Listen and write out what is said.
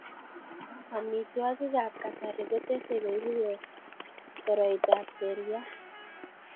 Amitwogikab kasari kotesei koibu koroitab seryat